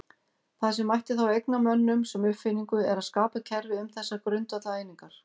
Það sem mætti þá eigna mönnum sem uppfinningu er að skapa kerfi um þessar grundvallareiningar.